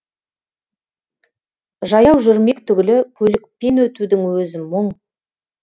жаяу жүрмек түгілі көлікпен өтудің өзі мұң